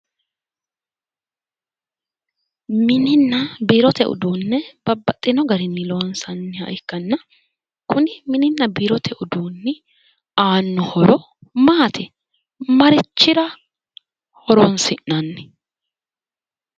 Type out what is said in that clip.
Mininna biirote uduune babbaxino garinni loosanniha ikkanna kuni mininna biirote uduunni aanno horo maati? marichira horonsi'nanni?